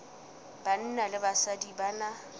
banna le basadi ba na